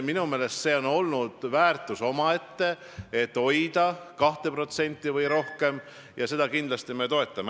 Minu meelest on see olnud väärtus omaette, et hoida seda tasemel 2% või rohkem, ja seda me kindlasti toetame.